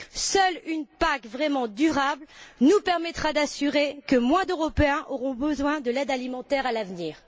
Seule une PAC vraiment durable nous permettra d'assurer que moins d'Européens auront besoin de l'aide alimentaire à l'avenir.